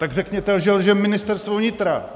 Tak řekněte, že lže Ministerstvo vnitra.